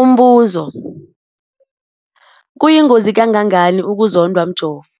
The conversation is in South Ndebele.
Umbuzo, kuyingozi kangangani ukuzondwa mjovo?